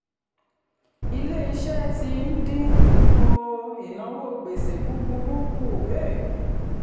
ilé-iṣẹ́ ti ń dín um ìnáwó gbèsè búburú kù um